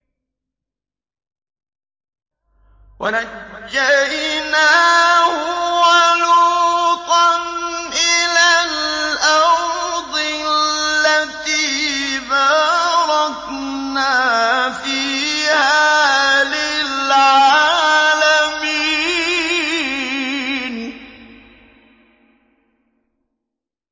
وَنَجَّيْنَاهُ وَلُوطًا إِلَى الْأَرْضِ الَّتِي بَارَكْنَا فِيهَا لِلْعَالَمِينَ